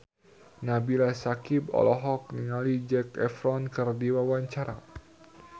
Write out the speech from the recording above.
Nabila Syakieb olohok ningali Zac Efron keur diwawancara